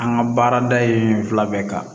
An ka baarada in fila bɛɛ kan